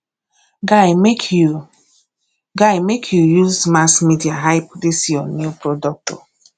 guy make you guy make you use mass media hype dis your new product o